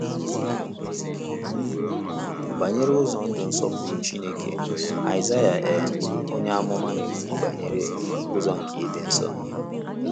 Banyere ụzọ ndụ nsọpụrụ Chineke, Aịzaịa um onye amụma na - ekwu banyere “ Ụzọ nke ịdị nsọ. ”